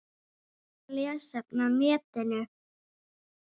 Mynd og lesefni á netinu